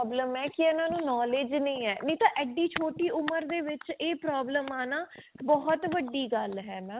problem ਹੈ ਕੇ ਇਹਨਾਂ ਨੂੰ knowledge ਨਹੀਂ ਹੈ ਨਾਈ ਤਾਂ ਏਡੀ ਛੋਟੀ ਉਮਰ ਦੇ ਵਿੱਚ ਇਹ problem ਆਣਾ ਬਹੁਤ ਵੱਡੀ ਗੱਲ ਹੈ mam